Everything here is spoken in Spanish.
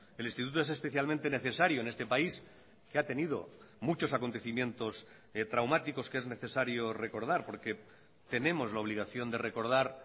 el instituto es especialmente necesario en este país que ha tenido muchos acontecimientos traumáticos que es necesario recordar porque tenemos la obligación de recordar